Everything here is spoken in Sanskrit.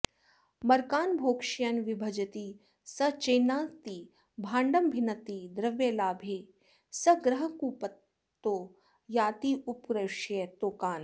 मर्कान् भोक्ष्यन् विभजति स चेन्नात्ति भाण्डं भिन्नत्ति द्रव्यालाभे स गृहकुपितो यात्युपक्रोश्य तोकान्